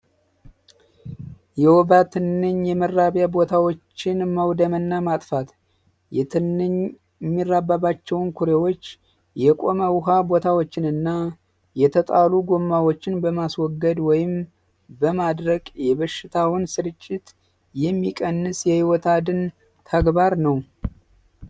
የወባ ትንኝ መራቢያ ቦታዎችን መውደም እና መጥፋት የትንኝ የሚራባባቸውን ቦታዎች የቆመው ውሃ ቦታዎችን እና የተጣሉ ጎማዎችን በማስወገድ ወይም በማድረቅ የበሽታውን ስርጭት የሚቀንስ የሕይወት አድን ተግባር ነው።